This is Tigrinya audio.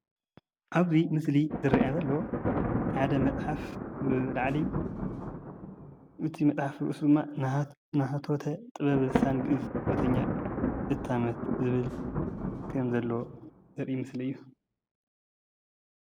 ብዛዕባ ሓደ ትካል ስም እንታይ ከም ዝሰርሕን ዝህቦም ውፂኢታትን ብቀረባ ኣንቢብካ ንምርዳእ ዘኽእል መፋለጢ